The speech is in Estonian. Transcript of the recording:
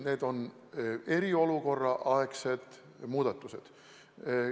Need on eriolukorraaegsed muudatused.